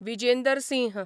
Vijender Singh